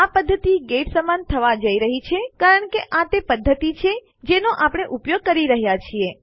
આ પદ્ધતિ ગેટ સમાન થવા જઈ રહી છે કારણ કે આ તે પદ્ધતિ છે જેનો આપણે ઉપયોગ કરી રહ્યાં છીએ